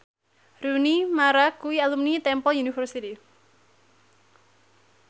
Rooney Mara kuwi alumni Temple University